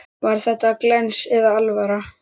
Var þetta glens eða alvara?